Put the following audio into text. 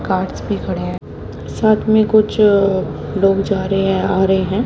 Guards भी खड़े हैं साथ में कुछ अ लोग जा रहे हैं आ रहे हैं।